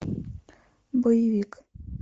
боевик